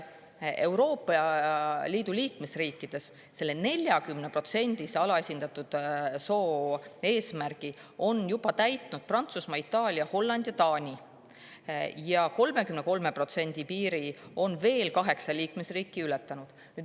Euroopa Liidu liikmesriikidest on selle 40%‑lise alaesindatud soo eesmärgi juba täitnud Prantsusmaa, Itaalia, Holland ja Taani ning 33% piiri on ületanud kaheksa liikmesriiki.